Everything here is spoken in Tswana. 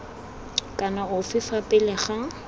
kana ofe fa pele ga